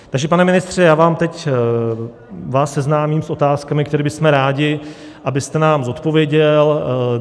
Takže pane ministře, já vás teď seznámím s otázkami, které bychom rádi, abyste nám zodpověděl.